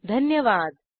सहभागासाठी धन्यवाद